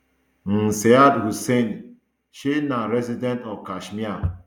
um syed hussain shey na resident of kashmir